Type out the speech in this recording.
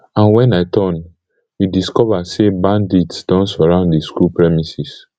and wen i turn we discova say bandits don surround di school premises